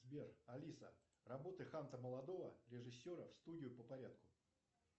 сбер алиса работа ханта молодого режиссера в студию по порядку